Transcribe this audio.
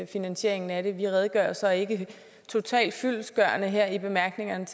finansiering af det vi redegør så ikke totalt fyldestgørende her i bemærkningerne